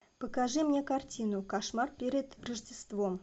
покажи мне картину кошмар перед рождеством